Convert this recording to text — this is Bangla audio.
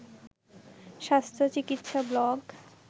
স্বাস্থ্য চিকিৎসা ব্লগ